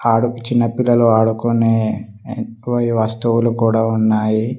ఆడు చిన్నపిల్లలు ఆడుకునే కొయి వస్తువులు కూడా ఉన్నాయి.